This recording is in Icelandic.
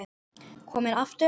Kominn aftur?